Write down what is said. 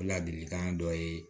O ladilikan dɔ ye